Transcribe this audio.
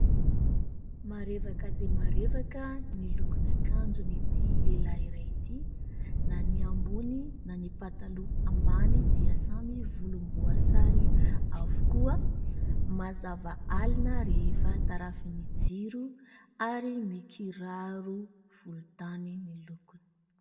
Marevaka dia marevaka ny lokon'akanjon' ity lehilahy iray ity, na ny ambony na ny pataloha ambany dia samy volom-boasary avokoa, mazava alina rehefa tarafin'ny jiro ary mikiraro volontany ny lokony.